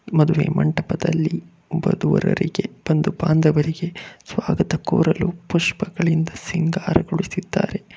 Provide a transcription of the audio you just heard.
ಮದುವೆ ಮಂಟಪದಲ್ಲಿ ವಧುವರರಿಗೆ ಬಂಧು ಬಾಂಧವರಿಗೆ ಸ್ವಾಗತ ಕೋರಲು ಪುಷ್ಪಗಳಿಂದ ಸಿಂಗಾರಗೊಳಿಸಿದ್ದಾರೆ.